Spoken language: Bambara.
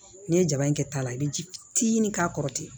N'i ye jaba in kɛ ta la i bɛ ji fitinin k'a kɔrɔ ten